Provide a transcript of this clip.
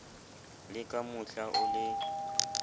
le ka mohla o le